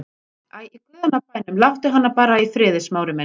Æ, í guðanna bænum, láttu hana bara í friði, Smári minn.